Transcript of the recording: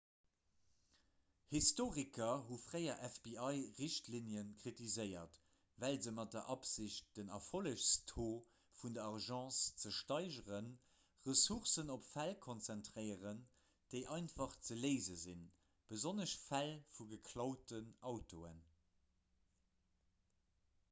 historiker hu fréier fbi-richtlinne kritiséiert well se mat der absicht den erfollegstaux vun der agence ze steigeren ressourcen op fäll konzentréieren déi einfach ze léise sinn besonnesch fäll vu geklauten autoen